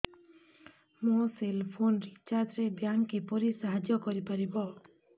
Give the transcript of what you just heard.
ମୋ cell phone recharge ରେ bank କିପରି ସାହାଯ୍ୟ କରିପାରିବ